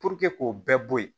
k'o bɛɛ bɔ yen